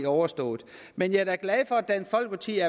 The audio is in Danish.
overstået men jeg er da glad for at dansk folkeparti